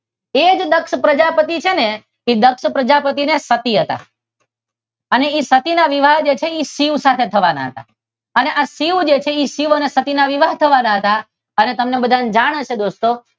એ જ દક્ષ પ્રજાપતિએ છે ને તે દક્ષ પ્રજાપતિએ ને સતી હતા. અને એ સતી ના વિવાહ છે ને શિવ સાથે થવાના હતા. અને આ શિવ જે છે તે શિવ અને સતી ના વિવાહ થવાના હતા અને તમને બધાને જાણ હશે દોસ્તો